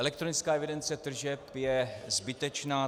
Elektronická evidence tržeb je zbytečná.